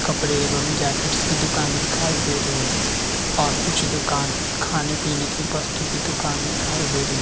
कपडे एवं जैकेट्स की दुकान दिखाई दे रही है और कुछ दुकान खाने-पिने की वस्तु की दूकान दिखाई दे रही --